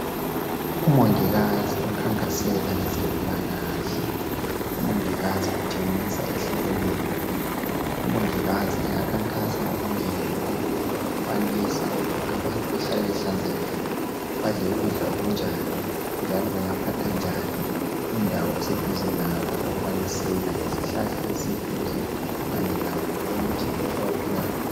Umongikazi okhankasela ngezempilakahle utshengisa ehlekelela. Umongikazi angakhankasa okunengi okufanisa lokuthi abantu bahlale behlanzekile, badle ukudla okunjani njalo bangaphatha njani indawo eseduze labo okubalisela izihlahla eziseduze kanye lakho konke abaphila lakho.